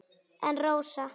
En Rósa?